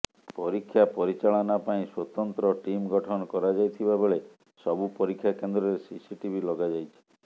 ପରୀକ୍ଷା ପରିଚାଳନା ପାଇଁ ସ୍ୱତନ୍ତ୍ର ଟିମ୍ ଗଠନ କରାଯାଇଥିବାବେଳେ ସବୁ ପରୀକ୍ଷା କେନ୍ଦ୍ରରେ ସିସିଟିଭି ଲଗାଯାଇଛି